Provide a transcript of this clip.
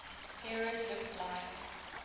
heroes looked like